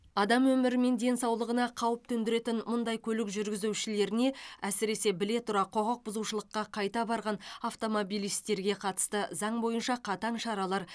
адам өмірі мен денсаулығына қауіп төндіретін мұндай көлік жүргізушілеріне әсіресе біле тұра құқық бұзушылыққа қайта барған автомобилистерге қатысты заң бойынша қатаң шаралар